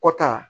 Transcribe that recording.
Kɔta